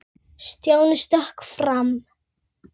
Stjáni stökk fram.